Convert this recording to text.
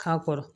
K'a kɔrɔ